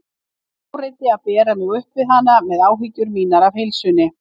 Ég áræddi að bera mig upp við hana með áhyggjur mínar af heilsunni.